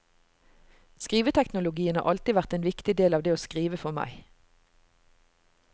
Skriveteknologien har alltid vært en viktig del av det å skrive for meg.